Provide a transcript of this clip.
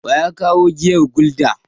Wa ya kawo giyar Gulda?